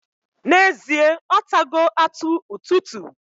Na ezie, otago atu ututu.